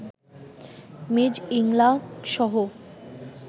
Ms ইংলাকসহ